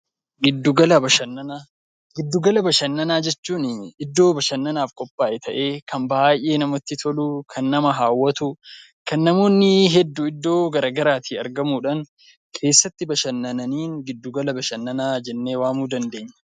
Giddu gala bashannanaa jechuun iddoo bashannanaaf qophaaye ta'ee kan baay'ee namatti tolu kan nama hawwatu kan namoonni hedduun iddoo garaagaraa argamuudhaan keessatti bashannananiin giddu gala bashannanaa jennee waamuu dandeenya.